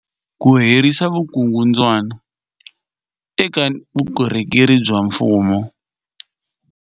Ku herisa vukungundwani eka vukorhokeri bya mfumo.